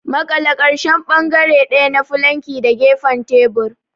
Maƙale ƙarshen bangare ɗaya na fulanki da gefen tebur.